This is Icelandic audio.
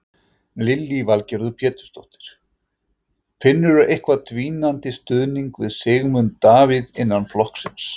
Lillý Valgerður Pétursdóttir: Finnurðu eitthvað dvínandi stuðningi við Sigmund Davíð innan flokksins?